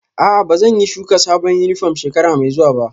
A'a, ba zan yi shuka sabon yunifwom shekara mai zuwa ba